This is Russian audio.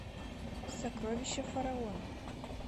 сокровища фараона